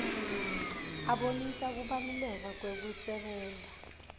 asibonisa kubalaleka kwekusebenta